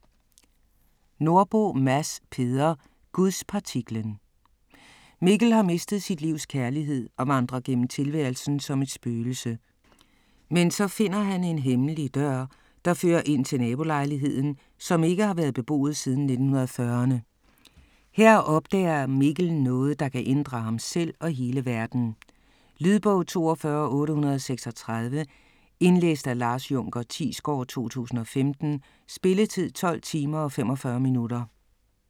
Nordbo, Mads Peder: Gudspartiklen Mikkel har mistet sit livs kærlighed og vandrer gennem tilværelsen som et spøgelse. Men så finder han en hemmelig dør, der fører ind til nabolejligheden, som ikke har været beboet siden 1940'erne. Her opdager Mikkel noget, der kan ændre ham selv og hele verden. Lydbog 42836 Indlæst af Lars Junker Thiesgaard, 2015. Spilletid: 12 timer, 45 minutter.